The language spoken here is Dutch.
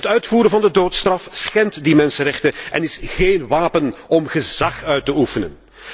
Het uitvoeren van de doodstraf schendt die mensenrechten en is geen wapen om gezag uit te oefenen.